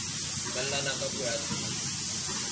dumellana ka puo ya tshebetso